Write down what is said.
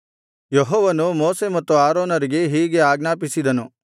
ಯೆಹೋವನು ಮೋಶೆ ಮತ್ತು ಆರೋನರಿಗೆ ಹೀಗೆ ಆಜ್ಞಾಪಿಸಿದನು